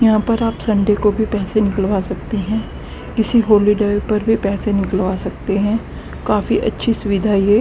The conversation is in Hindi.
यहां पर आप संडे को भी पैसे निकलवा सकते हैं किसी हॉलीडे पर भी पैसे निकलवा सकते हैं काफी अच्छी सुविधा ये--